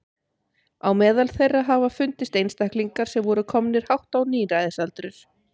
Á meðal þeirra hafa fundist einstaklingar sem voru komnir hátt á níræðisaldur.